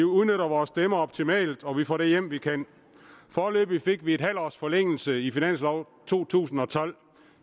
udnytter vores stemmer optimalt og får det hjem vi kan foreløbig fik vi en halv års forlængelse i finanslov to tusind og tolv